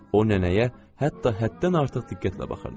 O nənəyə hətta həddən artıq diqqətlə baxırdı.